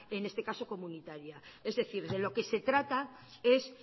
en este caso comunitaria es decir de lo que se trata es